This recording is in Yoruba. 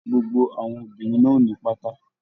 Gbogbo àwọn obìnrin náà o ní pátá.